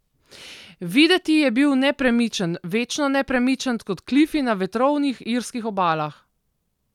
Videti je bil nepremičen, večno nepremičen kot klifi na vetrovnih irskih obalah.